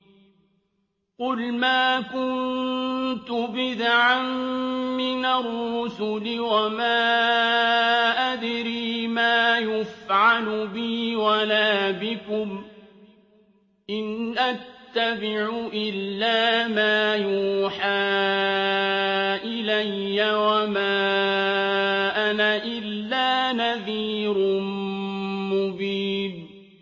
قُلْ مَا كُنتُ بِدْعًا مِّنَ الرُّسُلِ وَمَا أَدْرِي مَا يُفْعَلُ بِي وَلَا بِكُمْ ۖ إِنْ أَتَّبِعُ إِلَّا مَا يُوحَىٰ إِلَيَّ وَمَا أَنَا إِلَّا نَذِيرٌ مُّبِينٌ